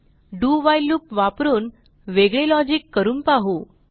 do while loop वापरून वेगळे logic करून पाहू